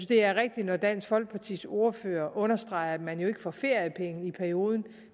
det er rigtigt af dansk folkepartis ordfører at understrege at man jo ikke får feriepenge i perioden